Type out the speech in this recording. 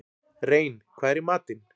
Rein, hvað er í matinn?